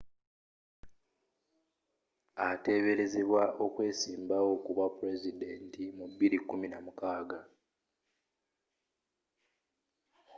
ateeberezebwa okwesimbawo kubwa pulezidenti mu 2016